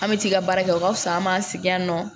An bɛ t'i ka baara kɛ o ka wusa an m'an sigi yan nɔ